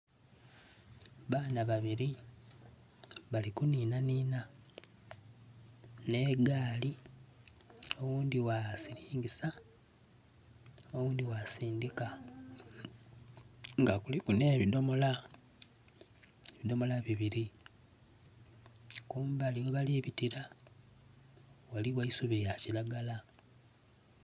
Baana babiri, bali kunhinanhina n'egaali, oghundhi bwasiringisa oghundi bwasindika nga kuluku n'ebidhomola, bidhomola bibiri, kumbali ghabali bitira, ghaligho eisubi lya kiragala.